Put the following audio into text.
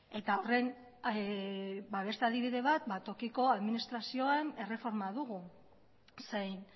eta horren beste adibide bat tokiko administrazioan erreforma dugu zein